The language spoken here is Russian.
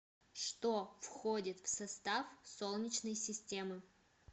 что входит в состав солнечной системы